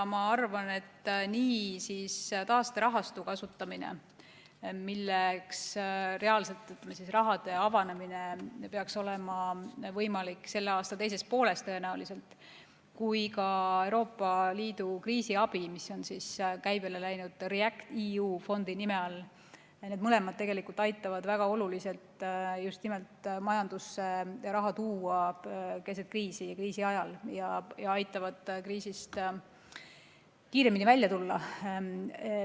Ma arvan, et nii taasterahastu kasutamine, mille avanemine peaks tõenäoliselt olema võimalik selle aasta teises pooles, kui ka Euroopa Liidu kriisiabi, mis on käibele läinud REACT-EU fondi nime all – need mõlemad aitavad väga oluliselt just nimelt majandusse raha tuua keset kriisi ja kriisi ajal ning aitavad kriisist kiiremini välja tulla.